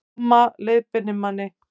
Mamma leiðbeinir manni